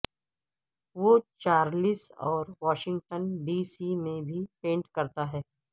وہ چارلس اور Washington D C میں بھی پینٹ کرتا ہے